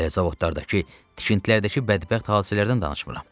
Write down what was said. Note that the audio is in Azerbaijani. Hələ zavodlardakı, tikintilərdəki bədbəxt hadisələrdən danışmıram.